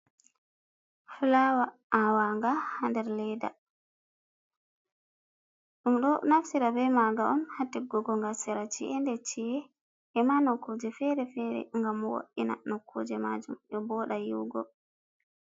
Fulawa awaga ha nderleda, ɗum ɗo naftira be maga on hatiggugo ga sera ci’e nde chie e ma nokkuje fere - fere, gam woina nokkuje majum ɗe boɗa yiugo.